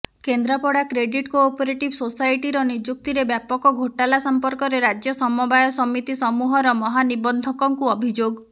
Kendrapara credit cooperative ସୋସାଇଟିର ନିଯୁକ୍ତିରେ ବ୍ୟାପକ ଘୋଟାଲା ସମ୍ପର୍କରେ ରାଜ୍ୟ ସମବାୟ ସମିତି ସମୂହର ମହାନିବନ୍ଧକଙ୍କୁ ଅଭିଯୋଗ